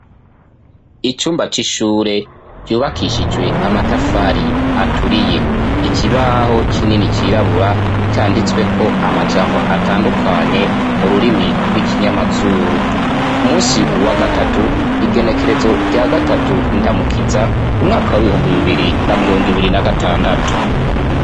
Icumba c'ishure cubakishijwe amatafari aturiye. Ikibaho kinini cirabura canditswe ko amajambo atandukanye mu rurimi rw'ikinyamazuru. Ku munsi wa gatatu igenekerezo rya gatatu ndamukiza umwaka w'ibihumbi bibiri na mirongo ibiri na gatandatu.